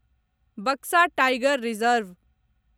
Buxa tiger reserve